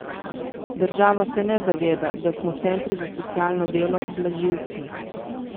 Država se ne zaveda, da smo centri za socialno delo blažilci.